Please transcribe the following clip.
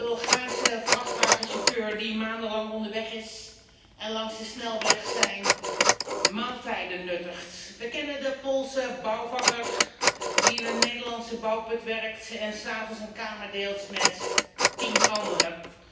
We kennen allemaal die Bulgaarse vrachtwagenchauffeur die maandenlang onderweg is en langs de snelweg zijn maaltijden nuttigt. We kennen de Poolse bouwvakker die in een Nederlandse bouwput werkt en 's avonds een kamer deelt met tien anderen.